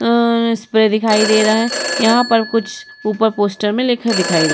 अं इस पे दिखाई दे रहा है। यहाँ पर कुछ ऊपर पोस्टर मे लिखा दिखाई --